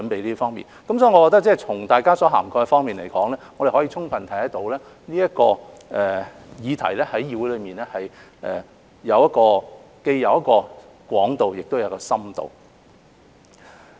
因此，我認為從大家發言中所涵蓋的方面而言，可充分看到這個議題在議會內既有廣度，亦有深度。